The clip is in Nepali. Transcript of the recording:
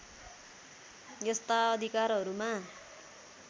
यस्ता अधिकारहरूमा